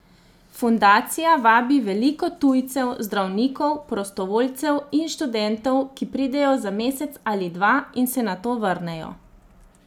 Fundacija vabi veliko tujcev, zdravnikov, prostovoljcev in študentov, ki pridejo za mesec ali dva in se nato vrnejo.